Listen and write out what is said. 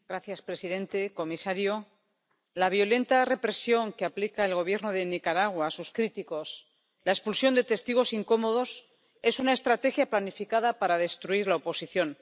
Señor presidente, comisario, la violenta represión que aplica el Gobierno de Nicaragua a sus críticos, la expulsión de testigos incómodos, es una estrategia planificada para destruir la oposición.